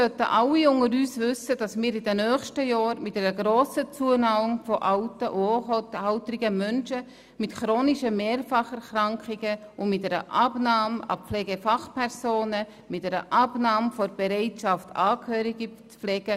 Alle unter uns sollten wissen, dass wir in den nächsten Jahren mit einer grossen Zunahme von alten und hochalten Menschen mit chronischen Mehrfacherkrankungen rechnen müssen, ebenso wie mit einer Abnahme von Pflegefachpersonen und einer Abnahme der Bereitschaft, Angehörige zu pflegen.